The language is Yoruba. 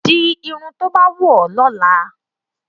Di irun tí ó bá wù ọ́ lọ́la